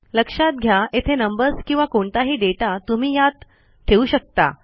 लक्षात घ्या येथे नंबर्स किंवा कोणताही दाता तुम्ही ह्यात ठेवू शकता